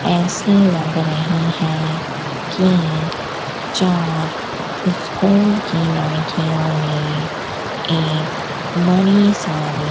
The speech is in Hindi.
ऐसी लग रही है कि चार स्कूल की लड़कियों ने एक बड़ी सारी --